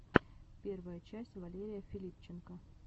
первая часть валерия филипченко